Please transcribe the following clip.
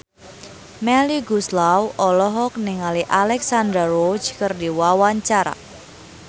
Melly Goeslaw olohok ningali Alexandra Roach keur diwawancara